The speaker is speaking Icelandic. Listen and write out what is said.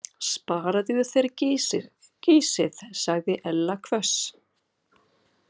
Sparaðu þér gysið sagði Ella hvöss.